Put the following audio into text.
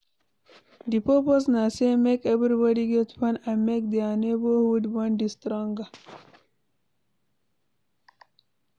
Di purpose na say make everbody get fun and make their neighborhood bond de stronger